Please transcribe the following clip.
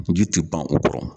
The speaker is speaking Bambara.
Ji tɛ ban u kɔrɔ.